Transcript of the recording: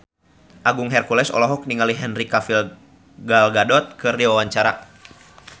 Agung Hercules olohok ningali Henry Cavill Gal Gadot keur diwawancara